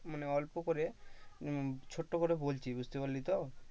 মানে অল্প করে উম ছোট্ট করে বলছি বুঝতে পারলি তো?